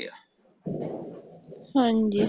ਹਾਂਜੀ